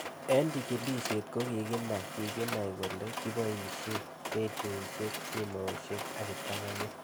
Eng' chig'ilishet ko kikenai kikenai kole kipoishe ,redioishek, simoshek ak kiptang'anyit